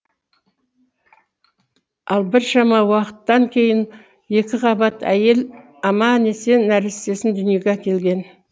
ал біршама уақыттан кейін екіқабат әйел аман есен нәрестесін дүниеге әкелген